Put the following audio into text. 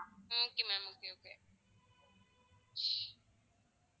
okay ma'am okay okay